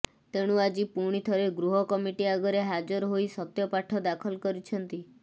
ତେଣୁ ଆଜି ପୁଣିଥରେ ଗୃହ କମିଟି ଆଗରେ ହାଜର ହୋଇ ସତ୍ୟପାଠ ଦାଖଲ କରିଛନ୍ତି